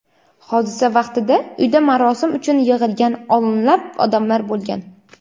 Hodisa vaqtida uyda marosim uchun yig‘ilgan o‘nlab odamlar bo‘lgan.